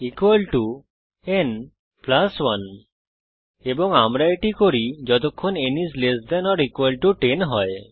n n 1 এবং আমরা এটি করি যতক্ষণ n is less than or equal to 10 হয়